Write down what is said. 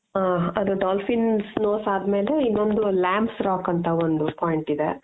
ಹ ಅದು dolphins nose ಆದ್ ಮೇಲೆ ಇನ್ನೊಂದು lams rock ಅಂತ ಒಂದು point ಇದೆ.